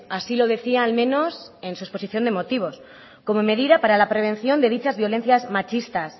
así lo decía al menos en su exposición de motivos como medida para la prevención de dichas violencias machistas